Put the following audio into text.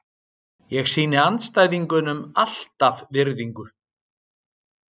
Ég sýni andstæðingunum alltaf virðingu.